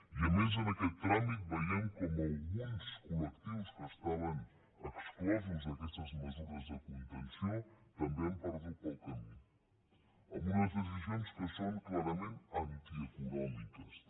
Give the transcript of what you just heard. i a més en aquest tràmit veiem com alguns col·lectius que estaven exclosos d’aquestes mesures de contenció també hi han perdut pel camí amb unes decisions que són clarament antieconòmiques també